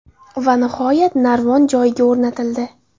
Va nihoyat narvon joyiga o‘rnatildi.